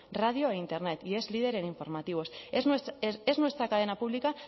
radio e internet y es líder en informativos es nuestra cadena pública